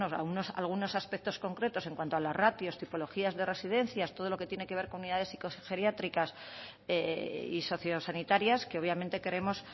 algunos aspectos concretos en cuanto a las ratios tipologías de residencias todo lo que tiene que ver con unidades psicogeriátricas y socio sanitarias que obviamente creemos